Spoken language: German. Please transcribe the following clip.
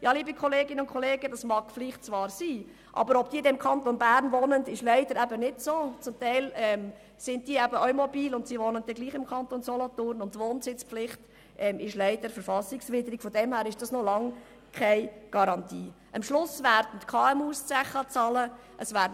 Schliesslich bleibt die Frage offen, ob wirklich Handlungsbedarf vorhanden ist und ob die betroffenen Grossunternehmen tatsächlich wegziehen werden.